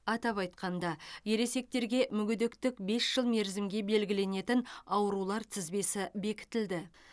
атап айтқанда ересектерге мүгедектік бес жыл мерзімге белгіленетін аурулар тізбесі бекітілді